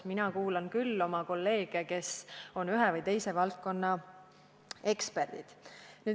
Mina kuulan küll oma kolleege, kes on ühe või teise valdkonna eksperdid.